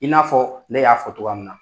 I n'a fɔ ne y'a fɔ cogoya min na.